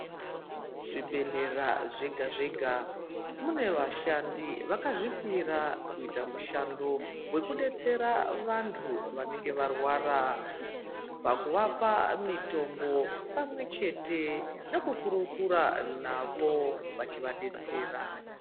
Zvibhedhlera zvega zvega munevashandi vakazvipira kuita mushando wokudetsera vantu vanenge varwara pakwechete nekumurukura navo vachivadetsera.